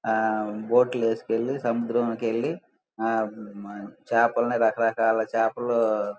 ఆ బోట్ లేసుకెళ్లి సముద్రం లోకెళ్ళి ఆ చేపల్ని రకరకాల చేపలు --